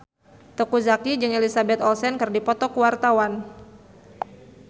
Teuku Zacky jeung Elizabeth Olsen keur dipoto ku wartawan